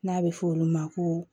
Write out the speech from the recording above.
N'a bɛ fɔ olu ma ko